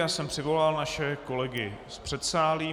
Já jsem přivolal naše kolegy z předsálí.